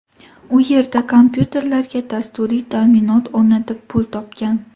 U yerda kompyuterlarga dasturiy ta’minot o‘rnatib pul topgan.